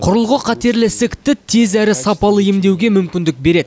құрылғы қатерлі ісікті тез әрі сапалы емдеуге мүмкіндік береді